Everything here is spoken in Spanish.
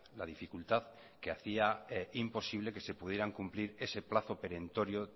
la dificultad que hacía imposible que se pudieran cumplir ese plazo perentorio